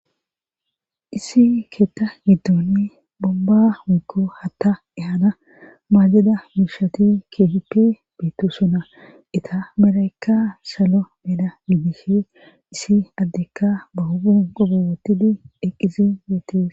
Issi keetta giddoni bobba wikko hatta ehana maajeda miishati keehipe beetto suna ita melaykka salo mela midishe issi addekka ba hogun qobowotidi eqqizi yeetees